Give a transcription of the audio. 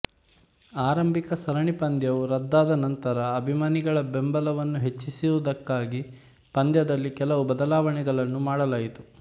ಆರಂಭಿಕ ಸರಣಿಪಂದ್ಯವು ರದ್ದಾದ ನಂತರ ಅಭಿಮಾನಿಗಳ ಬೆಂಬಲವನ್ನು ಹೆಚ್ಚಿಸುವುದಕ್ಕಾಗಿ ಪಂದ್ಯದಲ್ಲಿ ಕೆಲವು ಬದಲಾವಣೆಗಳನ್ನು ಮಾಡಲಾಯಿತು